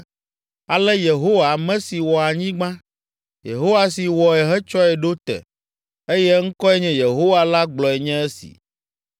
“Ale Yehowa, ame si wɔ anyigba, Yehowa si wɔe hetsɔe ɖo te, eye eŋkɔe nye Yehowa la gblɔe nye esi: